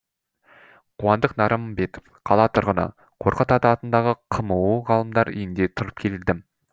қуандық нарымбетов қала тұрғыны қорқыт ата атындағы қму ғалымдар үйінде тұрып келдім